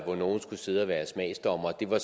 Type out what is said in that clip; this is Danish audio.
hvor nogle skulle sidde og være smagsdommere var